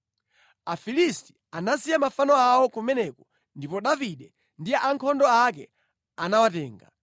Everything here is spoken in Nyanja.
Afilisti anasiya mafano awo kumeneko ndipo Davide ndi ankhondo ake anawatenga.